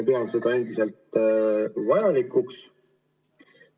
Pean seda endiselt vajalikuks.